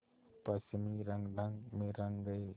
पश्चिमी रंगढंग में रंग गए